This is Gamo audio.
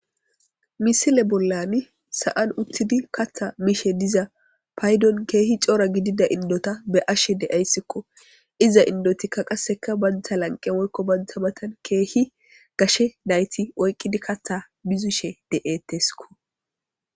Misle bollani sa7an uththidi kaththaa mishe diza paydon keehi cora gidida inddotha be7ashee de7aysikoo; iza inddothikka qassika banththa lanqqe woykko banththa mathen keehi gashe na7ithi oyqqidi kaththaa mizishee de7eeththes koo.